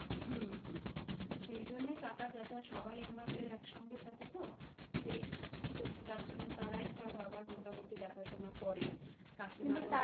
হুম হুম সেই জন্যেই কাকা জ্যাঠা সবাই আমাদের একসঙ্গে থাকে তো সেই তবু তার জন্য তারাই ধর বাবার মোটামুটি দেখাশোনা করে.